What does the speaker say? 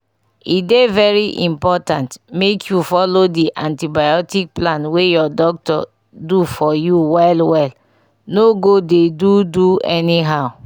e dey very important make you follow the antibiotic plan wey your doctor do for you well well no go dey do do anyhow